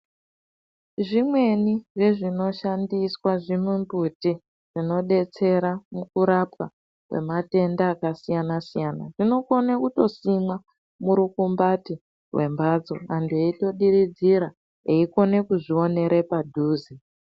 Zvimweni zvezvino shandiswa zvimumbuti zvinodetsera mukurapwa kwematenda akasiyana siyana zvinokona kutosimwa Muru kumbati hwembatso antu eitodiridzira ekona kuzvionera padhuze.